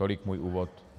Tolik můj úvod.